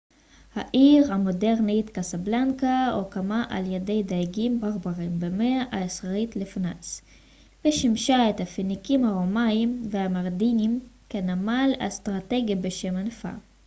העיר המודרנית קזבלנקה הוקמה על ידי דייגים ברברים במאה העשירית לפנ ס ושימשה את הפיניקים הרומאים והמרנידים כנמל אסטרטגי בשם אנפה